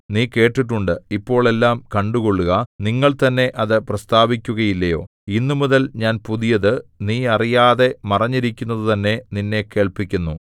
നീ കേട്ടിട്ടുണ്ട് ഇപ്പോൾ എല്ലാം കണ്ടുകൊള്ളുക നിങ്ങൾതന്നെ അത് പ്രസ്താവിക്കുകയില്ലയോ ഇന്നുമുതൽ ഞാൻ പുതിയത് നീ അറിയാതെ മറഞ്ഞിരിക്കുന്നതുതന്നെ നിന്നെ കേൾപ്പിക്കുന്നു